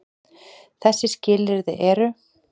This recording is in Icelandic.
Þessi skilyrði eru: